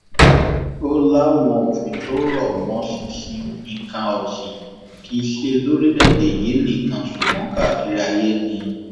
ó láwọn òfin tó rọ mọ ṣinṣin nǹkan ọsìn kì í ṣe lórílẹèdè yìí nìkan ṣùgbọn kárí ayé ni